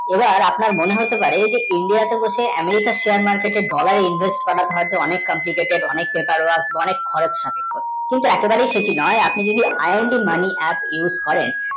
এবার আপনার মনে হতে পারে এই যে india তে বসে আমি একটা shear market এ dollar এ invest হওয়ার অনেক অনেক খরচ থাকে কিন্তু এত্ত সেই যে নয় আপনি যদি i am ti mani apps ব্যাবহার করেন